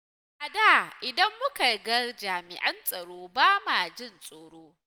A da idan muka ga jami'an tsaro, ba ma jin tsoro.